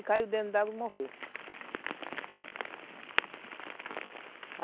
Ele caiu dentro d'água e morreu.